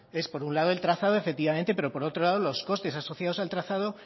es por un lado el trazado efectivamente pero por otro lado los costes asociados al trazado